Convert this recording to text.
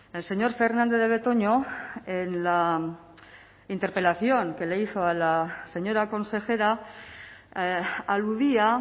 el señor fernandez de betoño en la interpelación que le hizo la señora consejera aludía